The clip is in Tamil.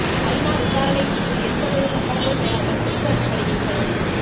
ஐ நா விசாரணைக் குழு எந்தவொரு சம்பளமும் பெறாமல் தொண்டு அடிப்படையில் பணி